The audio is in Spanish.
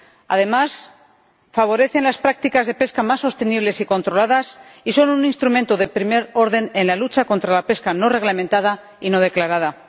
Además, favorecen las prácticas de pesca más sostenibles y controladas, y son un instrumento de primer orden en la lucha contra la pesca no reglamentada y no declarada.